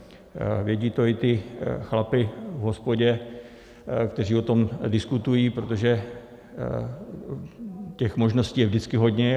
Vědí to i ti chlapi v hospodě, kteří o tom diskutují, protože těch možností je vždycky hodně.